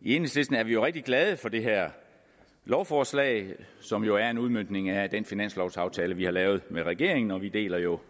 i enhedslisten er vi rigtig glade for det her lovforslag som jo er en udmøntning af den finanslovaftale vi har lavet med regeringen og vi deler jo